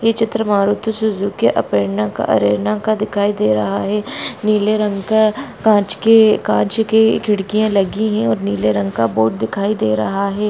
हे चित्र मारुती सुज़ुकी अपेर्णा का अरेना का दिखाई दे रहा है नीले रंग का काँच की काँच की खिड्किया लगी है और नीले रंग का बोर्ड दिखाई दे रहा है।